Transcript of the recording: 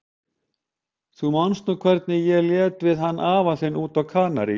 Þú manst nú hvernig hún lét við hann afa þinn úti á Kanarí.